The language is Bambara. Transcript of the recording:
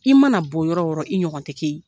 I mana bɔ yɔrɔ yɔrɔ i ɲɔgɔn tɛ kɛ ye.